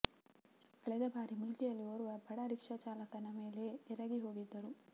ಕಳೆದ ಬಾರಿ ಮೂಲ್ಕಿಯಲ್ಲಿ ಓರ್ವ ಬಡ ರಿಕ್ಷಾ ಚಾಲಕನ ಮೇಲೆ ಎರಗಿ ಹೋಗಿದ್ದರು